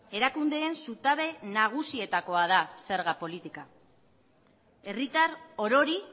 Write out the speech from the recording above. erakundeen zutabe nagusietakoa da zerga politika herritar orori